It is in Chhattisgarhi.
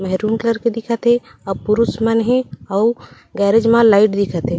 मैरून कलर के दिखत हे अ पुरुष मन हे अउ गेराज मा लाइट दिखत हे।